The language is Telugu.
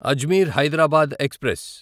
అజ్మీర్ హైదరాబాద్ ఎక్స్ప్రెస్